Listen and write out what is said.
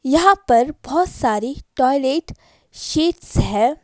यहाँ पर बहुत सारी टॉयलेट शीट्स है।